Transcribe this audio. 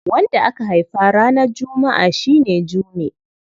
Wanda aka haifa ranar Juma'a shi ne Jume.